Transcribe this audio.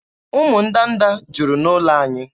Ụmụ ndanda juru n'ụlọ anyị.